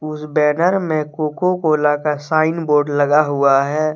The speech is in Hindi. उस बैनर में कोको कोला का साइन बोर्ड लगा हुआ है।